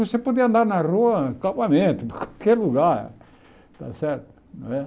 Você podia andar na rua, em qualquer lugar. Está certo não é